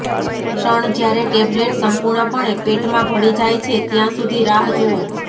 ક્ષણ જ્યારે ટેબ્લેટ સંપૂર્ણપણે પેટમાં ભળી જાય છે ત્યાં સુધી રાહ જુઓ